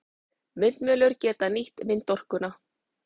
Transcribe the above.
Vindmyllur geta nýtt vindorkuna.